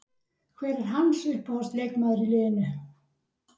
Hver er hans uppáhalds leikmaður í liðinu?